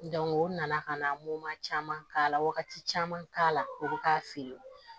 o nana kana caman k'a la wagati caman k'a la o bɛ k'a feere